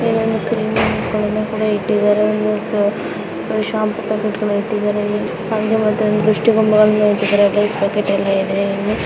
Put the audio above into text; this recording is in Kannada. ಈ ಒಂದು ಕ್ರೀಮಿಗಳನ್ನು ಕೂಡ ಇಟ್ಟಿದರೆ ಒಂದು ಅಹ್‌ ಒಂದು ಶಂಪು ಪಟಕೆಟ ಕೂಡ ಇಟ್ಟಿದ್ದಾರೆ ಹಂಗೆ ಒಂದು ದೃಶ್ಟಿಗೋಂಬೆ ಇಟ್ಟಿದ್ದಾರೆ ಇಲ್ಲಿ .